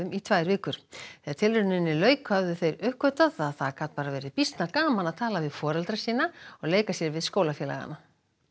í tvær vikur þegar tilrauninni lauk höfðu þeir uppgötvað að það gat bara verið býsna gaman að tala við foreldra sína og leika sér við skólafélagana